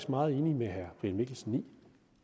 meget enig med herre brian mikkelsen i